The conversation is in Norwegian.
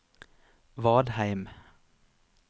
Vadheim